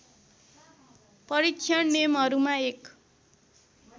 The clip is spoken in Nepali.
परीक्षण नियमहरूमा एक